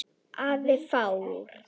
Afar fáar.